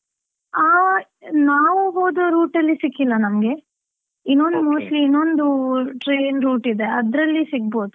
ಆ, ನಾವು ಹೋದ route ಅಲ್ಲಿ ಸಿಕ್ಕಿಲ್ಲ ನಮ್ಗೆ, ಇನ್ನೊಂದು mostly ಇನ್ನೊಂದು train route ಇದೆ ಅದ್ರಲ್ಲಿ ಸಿಗ್ಬೋದು.